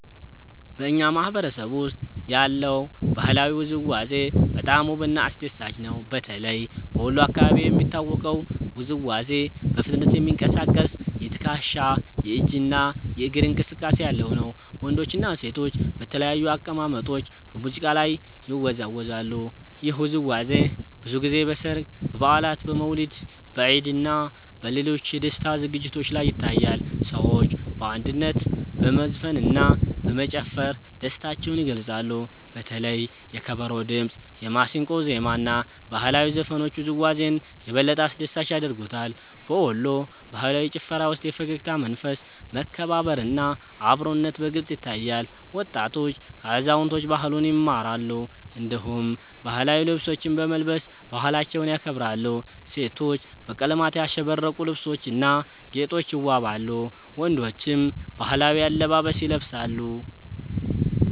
በእኛ ማህበረሰብ ውስጥ ያለው ባህላዊ ውዝዋዜ በጣም ውብና አስደሳች ነው። በተለይ በወሎ አካባቢ የሚታወቀው ውዝዋዜ በፍጥነት የሚንቀሳቀስ የትከሻ፣ የእጅ እና የእግር እንቅስቃሴ ያለው ነው። ወንዶችና ሴቶች በተለያዩ አቀማመጦች በሙዚቃ ላይ ይወዛወዛሉ። ይህ ውዝዋዜ ብዙ ጊዜ በሠርግ፣ በበዓላት፣ በመውሊድ፣ በኢድ እና በሌሎች የደስታ ዝግጅቶች ላይ ይታያል። ሰዎች በአንድነት በመዝፈንና በመጨፈር ደስታቸውን ይገልጻሉ። በተለይ የከበሮ ድምጽ፣ የማሲንቆ ዜማ እና ባህላዊ ዘፈኖች ውዝዋዜውን የበለጠ አስደሳች ያደርጉታል። በወሎ ባህላዊ ጭፈራ ውስጥ የፈገግታ መንፈስ፣ መከባበር እና አብሮነት በግልጽ ይታያል። ወጣቶች ከአዛውንቶች ባህሉን ይማራሉ፣ እንዲሁም ባህላዊ ልብሶችን በመልበስ ባህላቸውን ያከብራሉ። ሴቶች በቀለማት ያሸበረቁ ልብሶችና ጌጦች ይዋበዋሉ፣ ወንዶችም ባህላዊ አለባበስ ይለብሳሉ።